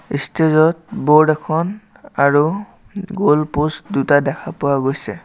Stage ত board এখন আৰু গলপ'ষ্ট দুটা দেখা পোৱা গৈছে।